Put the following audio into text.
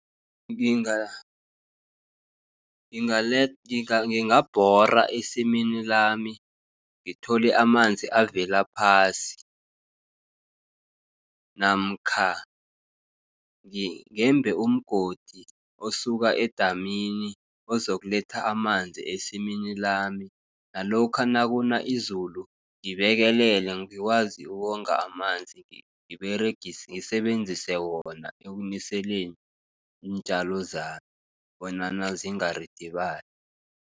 Ngingabhora esimini lami, ngithole amanzi avela phasi, namkha ngeembe umgodi osuka edamini okuzokuletha amanzi esimini lami. Nalokha nakuna izulu, ngibekelele ngikwazi ukuwonga amanzi ngisebenzise wona ekuniseleni iintjalo zami, bonyana zingaridibali.